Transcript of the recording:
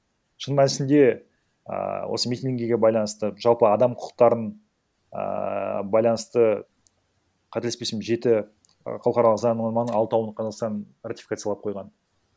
шын мәнісінде ыыы осы митингіге байланысты жалпы адам құқықтарын ыыы байланысты қателеспесем жеті і халықаралық заңнаманың алтауын қазақстан ратификациялап қойған